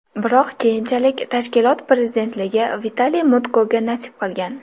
Biroq keyinchalik tashkilot prezidentligi Vitaliy Mutkoga nasib qilgan.